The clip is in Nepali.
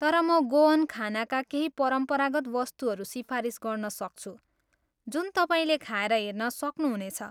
तर म गोअन खानाका केही परम्परागत वस्तुहरू सिफारिस गर्न सक्छु जुन तपाईँले खाएर हेर्न सक्नु हुनेछ।